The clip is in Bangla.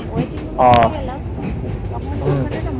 Waiting Room এ চলে গেলাম তখন ওখানে না